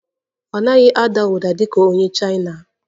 Ọ naghị ada ụda dị ka onye Chaina?